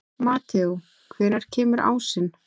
Mateó, hvenær kemur ásinn?